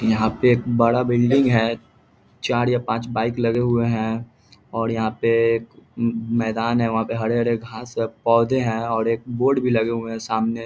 यहाँ पे एक बड़ा बिल्डिंग है। चार या पाँच बाइक लगे हुए हैं। और यहाँ पे मैदान है वहाँ पे हरे-हरे घास के पौधे हैं और एक बोर्ड भी लगे हुए हैं सामने ।